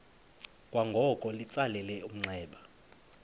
kwangoko litsalele umnxeba